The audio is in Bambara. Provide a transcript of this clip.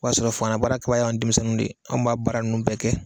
O y'a sɔrɔ fangala baara kɛbaa ye an denmisɛnninw de ye anw b'a baara ninnu bɛɛ kɛ